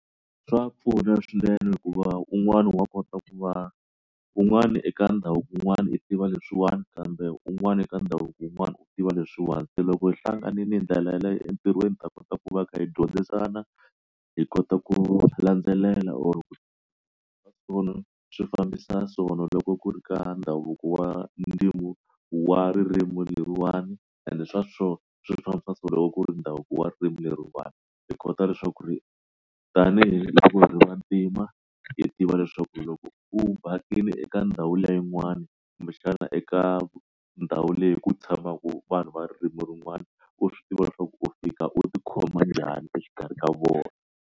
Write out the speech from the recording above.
Swa pfuna swinene hikuva un'wana wa kota ku va un'wana eka ndhavuko un'wana u tiva leswiwani kambe un'wana eka ndhavuko yin'wani u tiva leswiwani se loko hi hlanganile hi ndlela yaleyo entirhweni ta kota ku va hi kha hi dyondzisana hi kota ku landzelela or swa sona swi fambisa sona loko ku ri ka ndhavuko wa ndzimi wa ririmi leriwani and swa sona swi fambisa so loko ku ri ndhavuko wa ririmi leriwani hi kota leswaku ri tanihi vantima hi tiva leswaku loko u vhakile eka ndhawu liya yin'wani kumbe xana eka ndhawu leyi ku tshamaka vanhu va ririmi rin'wani u swi tiva leswaku u fika u ti khoma njhani exikarhi ka vona.